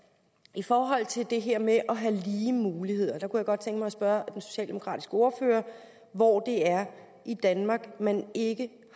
i forhold til det her med at have lige muligheder jeg kunne godt tænke mig at spørge den socialdemokratiske ordfører hvor det er i danmark man ikke